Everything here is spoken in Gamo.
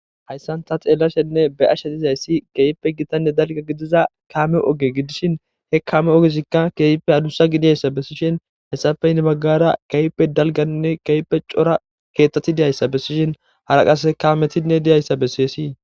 Hayssanta xeellashenne be ashe hizayssi keeyippe gitanne dalga gidiza kaame oge gidishin he kaame ogesikka keeyippe adussa gidiyayssa bessishin hessafeyinebaggara keype dalganinne keepe cora keeththati deyayssa bessishin haraqase kaametinne deyayssa bessiyyessi.